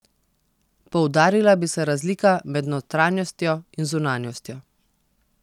Poudarila bi se razlika med notranjostjo in zunanjostjo.